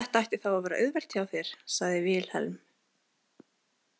Þetta ætti þá að vera auðvelt hjá þér, sagði Vilhelm.